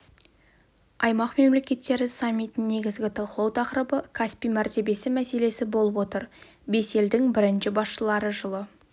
аймақ мемлекеттері саммитінің негізгі талқылау тақырыбы каспий мәртебесі мәселесі болып отыр бес елдің бірінші басшылары жылы